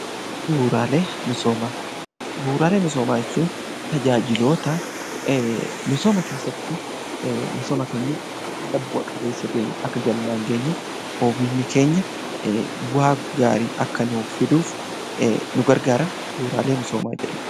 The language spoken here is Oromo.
Bu'uuraalee misoomaa Bu'uuraalee misoomaa jechuun tajaajiloota misooma keessatti misooma keenya haala bu'a qabeessa tajaajila keenya, oomishni keenya bu'aa gaarii akka nuuf fiduuf nu gargaaran bu'uuraalee misoomaa jedhamu.